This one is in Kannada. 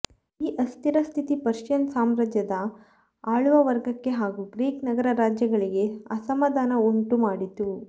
ಈ ಅಸ್ಥಿರಸ್ಥಿತಿ ಪರ್ಷಿಯನ್ ಸಾಮ್ರಾಜ್ಯದ ಆಳುವ ವರ್ಗಕ್ಕೆ ಹಾಗೂ ಗ್ರೀಕ್ ನಗರ ರಾಜ್ಯಗಳಿಗೆ ಅಸಮಾಧಾನವನ್ನುಂಟುಮಾಡಿತು